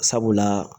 Sabula